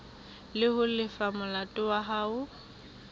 ho lefa molato wa hao